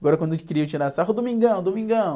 Agora quando eles queriam tirar sarro, Domingão, Domingão.